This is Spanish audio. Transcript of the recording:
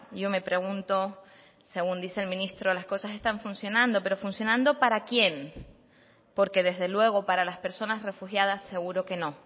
yo me pregunto según dice el ministro las cosas están funcionando pero funcionando para quién porque desde luego para las personas refugiadas seguro que no